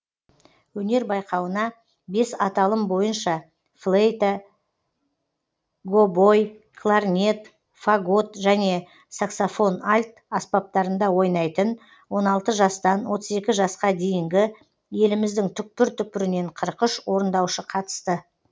өнер байқауына бес аталым бойынша флейта гобой кларнет фагот және саксофон альт аспаптарында ойнайтын он алты жастан отыз екі жасқа дейінгі еліміздің түкпір түкпірінен қырық үш орындаушы қатысты